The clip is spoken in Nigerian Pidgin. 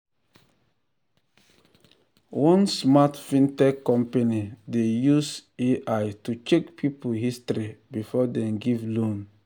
one smart fintech company dey use ai to check people history before dem give loan.